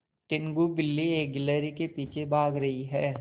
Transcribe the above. टीनगु बिल्ली एक गिल्हरि के पीछे भाग रही है